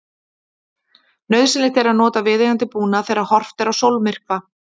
nauðsynlegt er að nota viðeigandi búnað þegar horft er á sólmyrkva